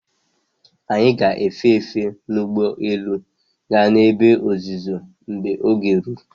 Anyị ga-efe efe n'ugbo élú gaa n'ebe ọzụzụ mgbe oge ruru.